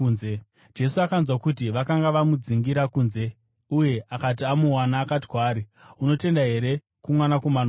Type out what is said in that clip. Jesu akanzwa kuti vakanga vamudzingira kunze, uye akati amuwana, akati kwaari, “Unotenda here kuMwanakomana woMunhu?”